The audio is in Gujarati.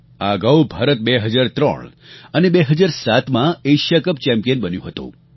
આ અગાઉ ભારત 2003 અને 2007માં એશિયા કપ ચેમ્પિયન બન્યું હતું